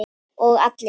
Og allir?